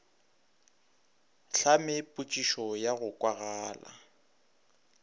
hlame potšišo ya go kwagala